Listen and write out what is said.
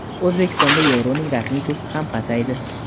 O‘zbekistonda yevroning rasmiy kursi ham pasaydi.